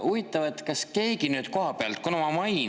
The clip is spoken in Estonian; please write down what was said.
Huvitav, kas keegi nüüd kohapealt saab.